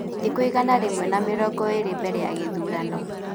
Thikũ igana rĩmwe na mĩrongo ĩrĩ mbere ya gĩthurano.